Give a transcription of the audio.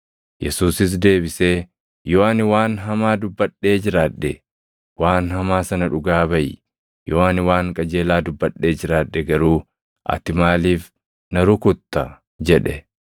Yesuusis deebisee, “Yoo ani waan hamaa dubbadhee jiraadhe, waan hamaa sana dhugaa baʼi. Yoo ani waan qajeelaa dubbadhee jiraadhe garuu ati maaliif na rukutta?” jedhe.